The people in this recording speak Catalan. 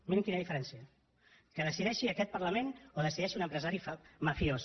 mirin quina diferència que decideixi aquest parlament o que decideixi un empresari mafiós